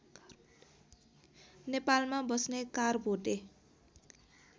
नेपालमा बस्ने कारभोटे